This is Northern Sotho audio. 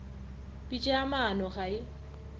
pitša ya maano ga e